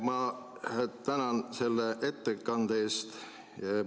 Ma tänan selle ettekande eest!